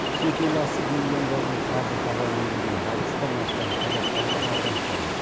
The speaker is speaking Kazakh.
шет ел асып миллиондаған қаржы табамын деген алпыстан астам қазақстандық алданып қалды